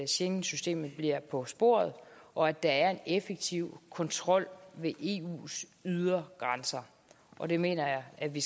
schengensystemet bliver på sporet og at der er en effektiv kontrol ved eus ydre grænser og det mener jeg at vi